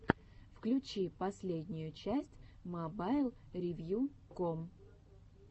включи последнюю часть мобайлревьюком